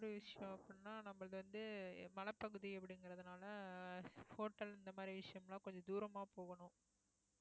ஒரு விஷயம் அப்படின்னா நம்மளுது வந்து மலைப்பகுதி அப்படிங்கிறதுனால hotel இந்த மாதிரி விஷயமெல்லாம் கொஞ்சம் தூரமா போகணும்